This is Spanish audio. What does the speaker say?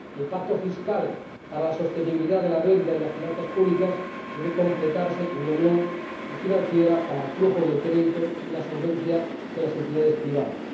El pacto fiscal para la sostenibilidad de la deuda y las finanzas públicas debe completarse con una unión financiera para el flujo del crédito y la solvencia de las entidades privadas.